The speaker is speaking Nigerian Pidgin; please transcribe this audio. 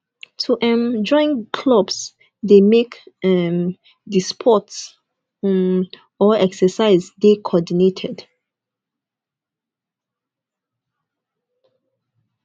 to um join clubs de make um di sports um or exercise de coordinated